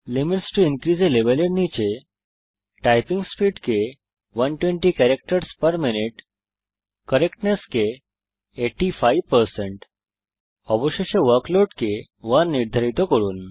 limits to increase a level এর নীচে typing speed কে 120 ক্যারাক্টারসহ পের মিনিউট কারেক্টনেস কে 85 অবশেষে ওয়ার্কলোড কে 1 নির্ধারিত করুন